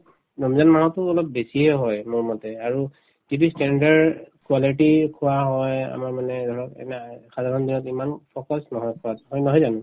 ৰমজান মাহততো অলপ বেছিয়ে হয় মোৰমতে আৰু standard quality খোৱা হয় আমাৰ মানে ধৰক সাধাৰণ দিনত ইমান focus নহয় খোৱাত হয় নহয় জানো